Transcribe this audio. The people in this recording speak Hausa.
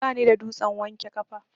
Bani da dutsen wanke kafa.